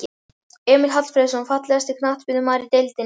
Emil Hallfreðs Fallegasti knattspyrnumaðurinn í deildinni?